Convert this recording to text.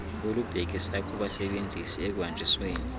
olubhekisa kubasebenzisi ekuhanjisweni